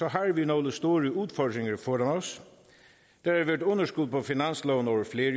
har vi nogle store udfordringer foran os der har været underskud på finansloven over flere